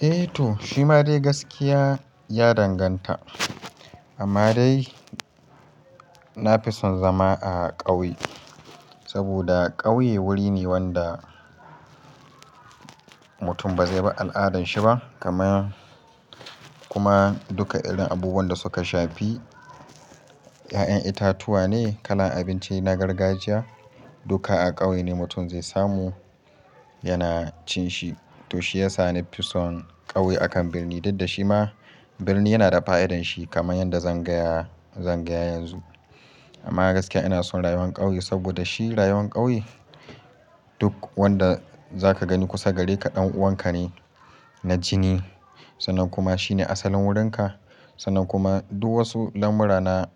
Eh to, shi ma dai gaskiya ya danganta. Amma dai, na fi son zama a ƙauye. Saboda ƙauye wuri ne wanda, mutum ba zai bi al'adan shi ba. Kuma duka irin abubuwan da suka shafi, ya'yan itatuwa ne, kalan abinci na gargajiya, duka a ƙauye ne mutum zai samu yana cin shi. To shi ya sa ni fison ƙauye akan birni. Dudda shi ma birni yana da fa'idan shi kamar yadda zan gaya, zan gaya yanzu. Amma gaskiya ina son rayuwar ƙauye, saboda shi rayuwar ƙauye, duk wanda za ka gani kusa gare ka ɗan'uwan ka ne, na jini. Sannan kuma shi ne asalin wurin ka. Sannan kuma duk wasu lamura na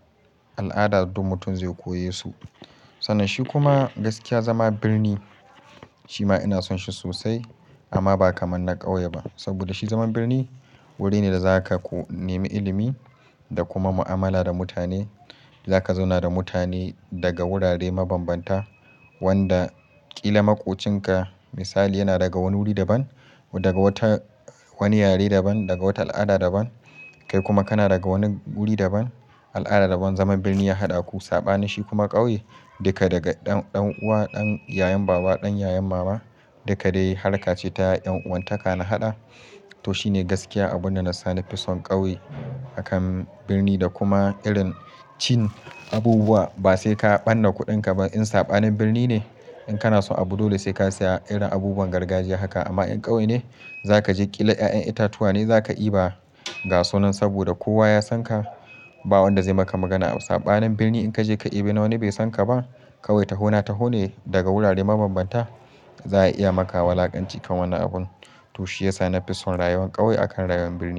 al'ada, duk mutum zai koye su. Sannan shi kuma gaskiya zaman birnin shi ma ina son shi sosai amma ba kamar na ƙauye ba. Saboda shi zaman birni, wuri ne da za ka nemi ilimi, da kuma mu'amala da mutane. Za ka zauna da mutane daga wurare mabanbanta wanda ƙila maƙocin ka misali yana daga wani wuri daban, daga wata, wani yare daban, daga wata al'ada daban. Kai kuma kana daga wani wuri daban, al'ada daban. Zaman birni ya haɗa ku. Saɓanin shi kuma ƙauye, duka daga ɗan'uwa, ɗan yayan baba, ɗan yayan mama duka dai harka ce ta ƴan'uwantaka na haɗa. Toh, shi ne gaskiya abun da na sa, na fison ƙauye akan birni da kuma irin cin abubuwa. Ba sai ka ɓanna kuɗin ka ba, in saɓanin birni ne, in kana son abu dole sai ka siya irin abubuwan gargajiya haka. Amma in ƙauye ne za ka je ƙila ya'yan itatuwa ne za ka iba gasunan saboda kowa ya san ka. Ba wanda zai maka magana. Saɓanin birni in ka je ka ɗebi na wani bai san ka ba. Ƙauye, taho na taho ne, daga wurare mabanbanta. Za'a iya maka wulakanci kan wannan abun. Toh, shi ya sa na fi son rayuwar ƙauye akan rayuwar birni.